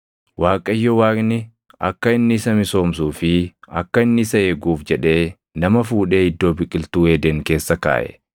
Waaqayyo Waaqni akka inni isa misoomsuu fi akka inni isa eeguuf jedhee nama fuudhee Iddoo Biqiltuu Eeden keessa kaaʼe.